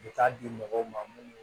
U bɛ taa di mɔgɔw ma minnu